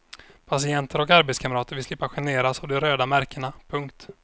Patienter och arbetskamrater vill slippa generas av de röda märkena. punkt